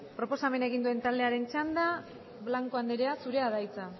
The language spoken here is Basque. proposamena egin duen taldearen txandan blanco andrea zurea da hitza